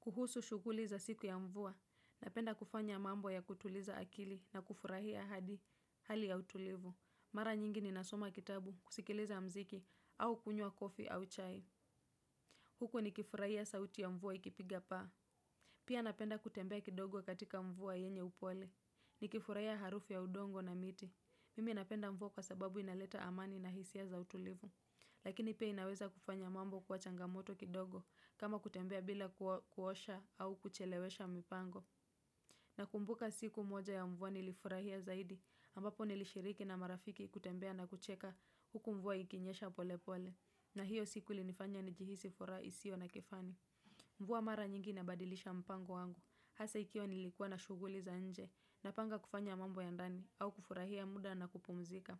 Kuhusu shuguli za siku ya mvua, napenda kufanya mambo ya kutuliza akili na kufurahia hadi hali ya utulivu. Mara nyingi ninasoma kitabu, kusikiliza muziki au kunywa coffee au Chai. Huku nikifurahia sauti ya mvua ikipiga paa. Pia napenda kutembea kidogo katika mvua yenye upole. Ni kifurahia harufu ya udongo na miti. Mimi napenda mvua kwa sababu inaleta amani na hisia za utulivu. Lakini pia inaweza kufanya mambo kuwa changamoto kidogo kama kutembea bila kuosha au kuchelewesha mpango. Nakumbuka siku moja ya mvua nilifurahia zaidi ambapo nilishiriki na marafiki kutembea na kucheka huku mvua ikinyesha pole pole. Na hiyo siku linifanya ni jihisi furaha isiyo na kifani. Mvua mara nyingi inabadilisha mpango wangu. Hasa ikiwa nilikuwa na shuguli za nje napanga kufanya mambo ya ndani au kufurahia muda na kupumzika.